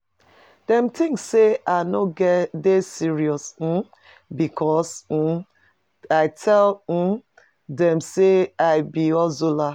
Dem tink sey I no get dey serious umm because umm I tell ummm dem sey I be hustler.